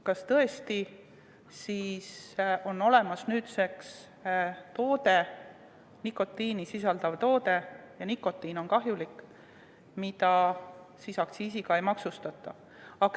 Kas tõesti on nüüd olemas nikotiini sisaldav toode – ja nikotiin on kahjulik –, mida aktsiisiga ei maksustata?